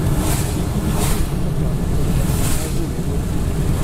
Ti gi gige tich kaka, pala, kod masin mar golo mor kich.